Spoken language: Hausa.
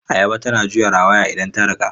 Ayaba tana juya rawaya idan ta cika.